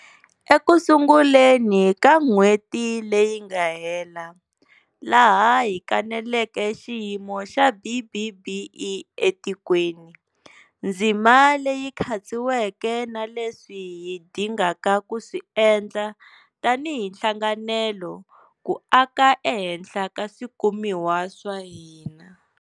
Ekusunguleni ka n'hweti leyi nga hela, laha hi kaneleke xiyimo xa BBBE etikweni, ndzima leyi khatsiweke na leswi hi dingaka ku swi endla tanihi nhlanganelo ku aka ehenhla ka swikumiwa swa hina.